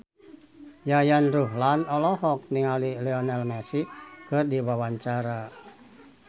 Yayan Ruhlan olohok ningali Lionel Messi keur diwawancara